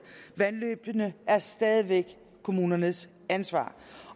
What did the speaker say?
vandløbene er stadig væk kommunernes ansvar